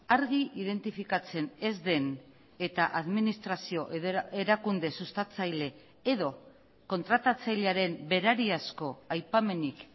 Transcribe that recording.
argi identifikatzen ez den eta administrazio erakunde sustatzaile edo kontratatzailearen berari asko aipamenik